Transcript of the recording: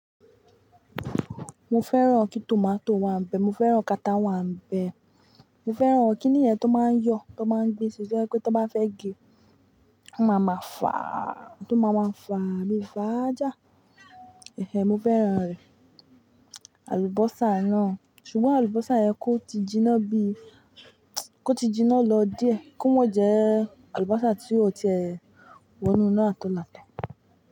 Mo fẹ́ràn kí tomato wà ń bẹ, mo fẹ́ràn kata wà ń bẹ, mo fẹ́ràn kí níyẹ̀ tó máa ń yọ, tó máa ń gbé sìṣẹ́, pé tó bá fẹ́ gẹ, ó máa ma fà á, tó máa ma fà á, bí i fàájà. Eh, mo fẹ́ràn rẹ̀. Àlùbọ́sà náà, ṣùgbọ́n àlùbọ́sà yẹn kó ti jiná bíi kó ti jiná lọ díẹ̀. Kó mo jẹ àlùbọ́sà tí ó ti wọnú náà tó là tó.